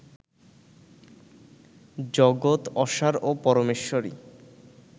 জগৎ অসার ও পরমেশ্বরই